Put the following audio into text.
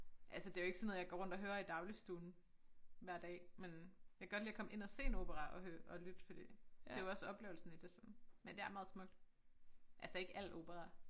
Altså det jo ikke sådan noget jeg går rundt og hører i dagligstuen hver dag men jeg godt lide at komme ind og se en opera og hø og lytte fordi det jo også oplevelsen i det sådan men det er meget smukt altså ikke alt opera